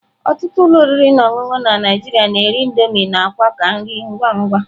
Ọtụtụ ụlọ oriri na ọṅụṅụ na Naijiria na-ere Indomie na akwa ka nri ngwa ngwa.